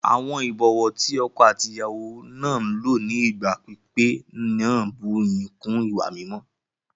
Àwọn ìbọ̀wọ́ ti ọkọ àti ìyàwó náà lò ní ìgbà pípẹ́ náà bú ìyìn kún ìwà mímọ́